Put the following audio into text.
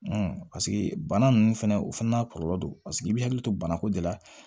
paseke bana ninnu fɛnɛ o fana n'a kɔlɔlɔ do paseke i bɛ hakili to banako de la